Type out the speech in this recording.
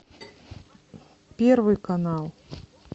первый канал